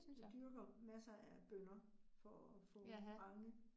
Jeg dyrker masser af bønner for at få mange